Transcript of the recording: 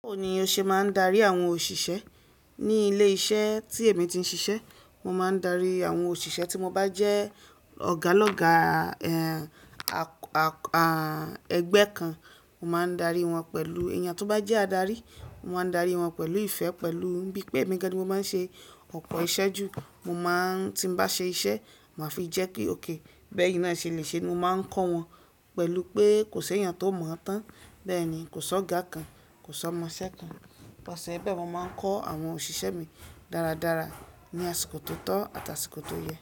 Báwo ni o ṣe máa ń darí àwọn òṣìṣẹ́? Ni ilé iṣẹ́ tí èmi ti ń ṣiṣẹ́, mo máa ń darí àwọn òṣìṣẹ́ tí mo bá jẹ́ ọ̀gá lọ́gá, ẹgbẹ́ kan, mo máa ń darí wọn pẹ̀lú èyàn tó bá jẹ́ adarí, mo máa ń darí wọn pẹ̀lú ìfẹ́, pẹ̀lú bí pé, emí gàn ní mo má ń ṣe ọ̀pọ̀ iṣẹ́ jù, mo máa ń tí mo bá ṣe iṣẹ́, màá fi jẹ́ kí ókay bẹ́yín náà ṣe lè ṣe é, mo máa ń kọ́ wọn pẹ̀lú pé kò ṣe éyàn tó mọ̀ọ́ tán. Bẹ́ẹ̀ ni, kò sọ́ ọ̀gá kan, kò sọ́ ọmọṣẹ́ kan. Bẹ́ẹ̀ ni, bẹ́ẹ̀ mo máa ń kọ́ àwọn òṣìṣẹ́ mi dáradára ní àsìkò tó tọ́ àti àsìkò tó yẹ.